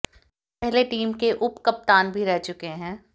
वे पहले टीम के उपकप्तान भी रह चुके हैं